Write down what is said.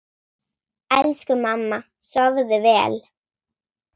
Elsku mamma, sofðu vel.